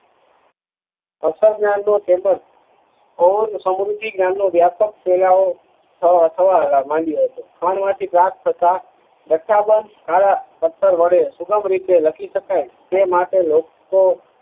અક્ષર વ્યાપક ફેલાવો થવો અ થવા માંડીયો હતો થીબાદ થતા જથ્થા બંધ આવા પથ્થર વડે સુગડરીતે લખી શકાય તે માટે લોકો